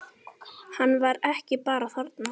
Hann var ekki bara þarna.